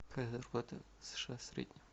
какая зарплата в сша в среднем